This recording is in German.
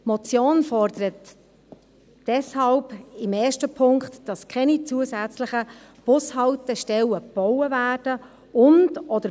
Die Motion fordert deshalb im ersten Punkt, dass keine zusätzlichen Bushaltestellen gebaut werden und/oder